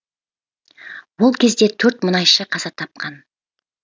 ол кезде төрт мұнайшы қаза тапқан